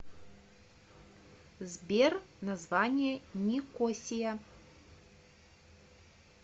сбер название никосия